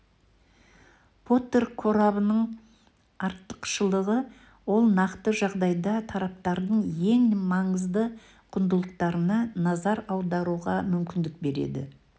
поттер қорабының артықшылығы ол нақты жағдайда тараптардың ең маңызды құндылықтарына назар аударуға мүмкіндік береді